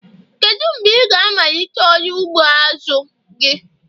Kedu mgbe ị ga-amalite ọrụ ugbo azu gi?